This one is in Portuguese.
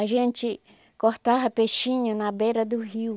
A gente cortava peixinho na beira do rio.